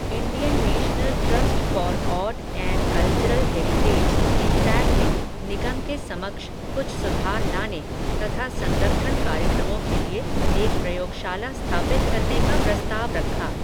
Indian national trust for art and cultural heritage, INTACH ने, निगम के समक्ष, कुछ सुधार लाने, तथा संरक्षण कार्यक्रमों के लिए, एक प्रयोगशाला स्थापित करने का प्रस्ताव रखा